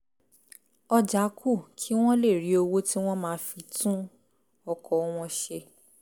ọjà kù kí wọ́n lè rí owó tí wọ́n máa fi tún ọkọ̀ wọn ṣe